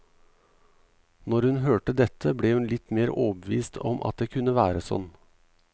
Når hun hørte dette, ble hun litt mer overbevist om at det kunne være sånn.